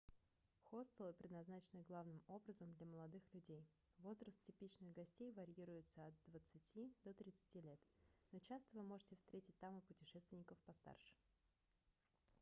хостелы предназначены главным образом для молодых людей возраст типичных гостей варьируется от двадцати до тридцати лет но часто вы можете встретить там и путешественников постарше